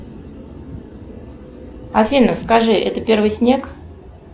афина скажи это первый снег